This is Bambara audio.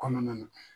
Kɔnɔna na